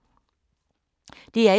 DR1